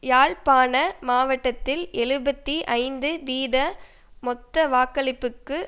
யாழ்ப்பாண மாவட்டத்தில் எழுபத்தி ஐந்து வீத மொத்த வாக்களிப்புக்கு